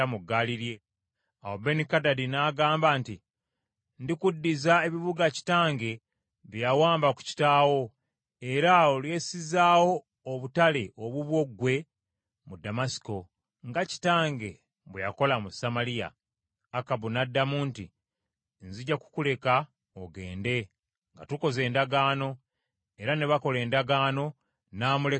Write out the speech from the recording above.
Awo Benikadadi n’agamba nti, “Ndikuddiza ebibuga kitange bye yawamba ku kitaawo, era olyessizaawo obutale obubwo ggwe mu Ddamasiko, nga kitange bwe yakola mu Samaliya.” Akabu n’addamu nti, “Nzija kukuleka ogende nga tukoze endagaano.” Era ne bakola endagaano, n’amuleka n’agenda.